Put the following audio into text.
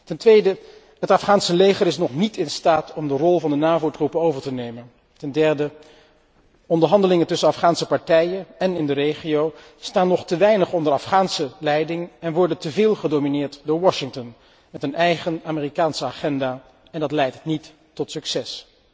Ten tweede is het Afghaanse leger nog niet in staat om de rol van de NAVO troepen over te nemen, en ten derde staan onderhandelingen tussen de partijen en in de regio nog te weinig onder Afghaanse leiding en worden teveel gedomineerd door Washington, met een eigen Amerikaanse agenda en dat leidt niet tot succes.